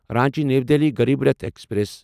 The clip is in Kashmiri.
Ranchi new Delhi Garib Rath express